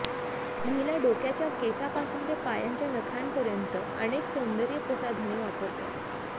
महिला डोक्याच्या केसापासून ते पायांच्या नखांपर्यंत अनेक सौंदर्य प्रसाधने वापरतात